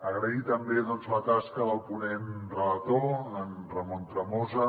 agrair també doncs la tasca del ponent relator en ramon tremosa